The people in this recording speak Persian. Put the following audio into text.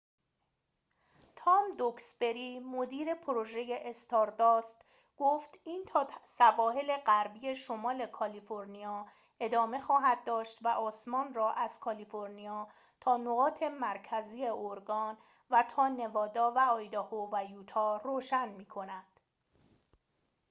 تام دوکسبری مدیر پروژه استارداست گفت این تا سواحل غربی شمال کالیفرنیا امتداد خواهد داشت و آسمان را از کالیفرنیا تا نقاط مرکزی اورگان و تا نوادا و آیداهو و یوتا روشن می کند